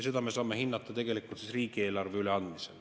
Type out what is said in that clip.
Seda me saame hinnata tegelikult riigieelarve üleandmisel.